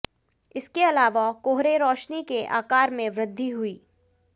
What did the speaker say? इसके अलावा कोहरे रोशनी के आकार में वृद्धि हुई